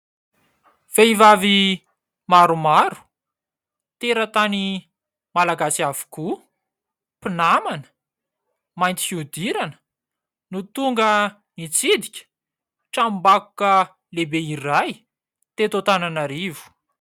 Vehivavy maromaro, teratany malagasy avokoa mpinamana, mainty fihodirana no tonga nitsidika tranom-bakoka lehibe iray teto Antananarivo.